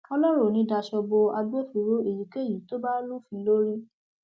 ọlọrun ò ní í daṣọ bo agbófinró èyíkéyìí tó bá lufin lórí